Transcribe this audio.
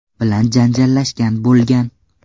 bilan janjallashgan bo‘lgan.